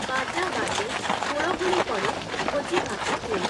ବାଜା ବାଜେ, ହୁଳହୁଳି ପଡ଼େ ଭୋଜିଭାତ ହୁଏ ।